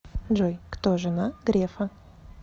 джой кто жена грефа